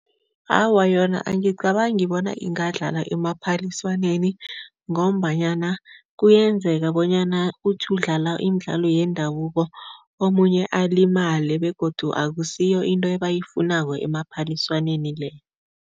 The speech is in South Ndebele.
Awa, yona angicabangi bona ingadlalwa emaphaliswaneni ngombanyana kuyenzeka bonyana uthi udlala imidlalo yendabuko, omunye alimale begodu akusiyo into ebayifunako emaphaliswaneni le.